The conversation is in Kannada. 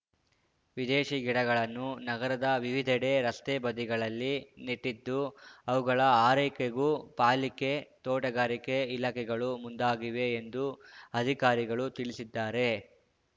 ವಿದೇಶೀ ಗಿಡಗಳನ್ನು ನಗರದ ವಿವಿಧೆಡೆ ರಸ್ತೆ ಬದಿಗಳಲ್ಲಿ ನೆಟ್ಟಿದ್ದು ಅವುಗಳ ಆರೈಕೆಗೂ ಪಾಲಿಕೆ ತೋಟಗಾರಿಕೆ ಇಲಾಖೆಗಳು ಮುಂದಾಗಿವೆ ಎಂದು ಅಧಿಕಾರಿಗಳು ತಿಳಿಸಿದ್ದಾರೆ